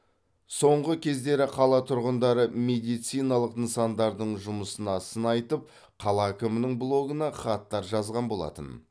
соңғы кездері қала тұрғындары медициналық нысандардың жұмысына сын айтып қала әкімінің блогына хаттар жазған болатын